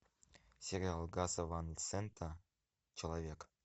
сериал гаса ван сента человек